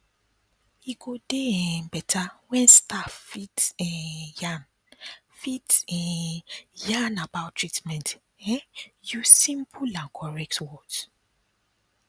e go dey um beta wen staff fit um yarn fit um yarn about treatment um use simple and correct words